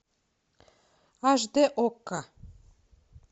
аш д окко